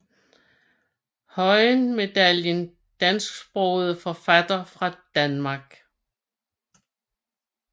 Høyen Medaljen Dansksprogede forfattere fra Danmark